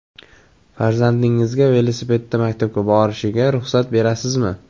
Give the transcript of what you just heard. Farzandingizga velosipedda maktabga borishiga ruxsat berasizmi?